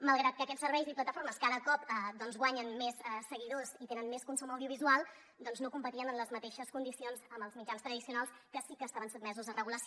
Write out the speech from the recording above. malgrat que aquests serveis i plataformes cada cop guanyen més segui·dors i tenen més consum audiovisual doncs no competien en les mateixes condi·cions amb els mitjans tradicionals que sí que estaven sotmesos a regulació